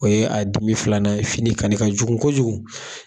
O ye a dimi filanan ye, fini kanni ka jugu kojugu.